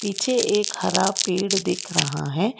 पीछे एक हरा पेड़ दिख रहा है।